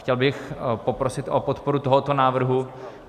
Chtěl bych poprosit o podporu tohoto návrhu.